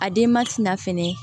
A denba tɛna fɛnɛ